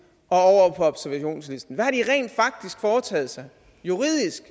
og over på observationslisten hvad har de rent faktisk foretaget sig juridisk